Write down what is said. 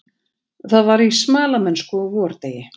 Það var í smalamennsku á vordegi.